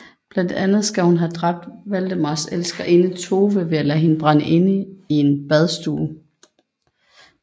Blandt andet skal hun have dræbt Valdemars elskerinde Tove ved at lade hende brænde inde i en badstue